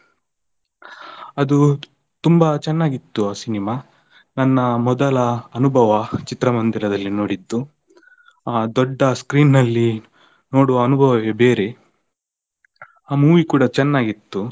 ಅದು ತುಂಬಾ ಚೆನ್ನಾಗಿತ್ತು ಆ ಸಿನೆಮಾ, ನನ್ನ ಮೊದಲ ಅನುಭವ ಚಿತ್ರಮಂದಿರದಲ್ಲಿ ನೋಡಿದ್ದು ದೊಡ್ಡ screen ನಲ್ಲಿ ನೋಡುವ ಅನುಭವವೇ ಬೇರೆ. ಆ movie ಕೂಡ ಚೆನ್ನಾಗಿತ್ತು.